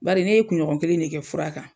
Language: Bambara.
Bari ne ye kuɲɔgɔn kelen de kɛ fura kan.